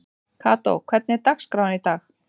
Kató, hvernig er dagskráin í dag?